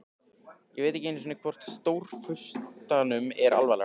Ég veit ekki einu sinni hvort Stórfurstanum er alvara.